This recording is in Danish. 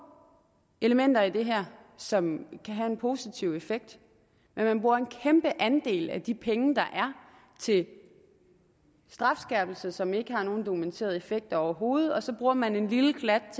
elementer i det her som kan have en positiv effekt men man bruger en kæmpe andel af de penge der er til strafskærpelse som ikke har nogen dokumenteret effekt overhovedet og så bruger man en lille klat